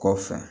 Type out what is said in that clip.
Kɔfɛ